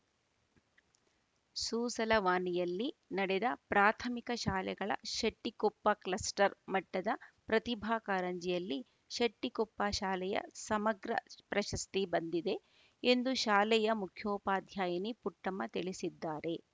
ಸೂಸಲವಾನಿಯಲ್ಲಿ ನಡೆದ ಪ್ರಾಥಮಿಕ ಶಾಲೆಗಳ ಶೆಟ್ಟಿಕೊಪ್ಪ ಕ್ಲಸ್ಟರ್‌ ಮಟ್ಟದ ಪ್ರತಿಭಾ ಕಾರಂಜಿಯಲ್ಲಿ ಶೆಟ್ಟಿಕೊಪ್ಪ ಶಾಲೆಯ ಸಮಗ್ರ ಪ್ರಶಸ್ತಿ ಬಂದಿದೆ ಎಂದು ಶಾಲೆಯ ಮುಖ್ಯೋಪಾಧ್ಯಾಯಿನಿ ಪುಟ್ಟಮ್ಮ ತಿಳಿಸಿದ್ದಾರೆ